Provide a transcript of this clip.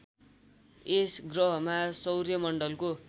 यस गह्रमा सौर्यमण्डलको